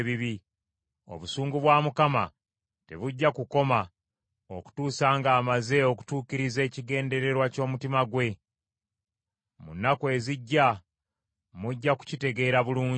Obusungu bwa Mukama tebujja kukoma okutuusa ng’amaze okutuukiriza ekigendererwa ky’omutima gwe. Mu nnaku ezijja, mujja kukitegeera bulungi.